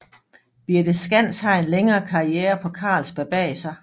Birthe Skands har en længere karriere på Carlsberg bag sig